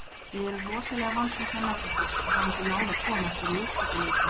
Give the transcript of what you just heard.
Við erum rosalega vonsviknar með þetta, að hafa ekki náð að koma okkur í úrslitaleikinn.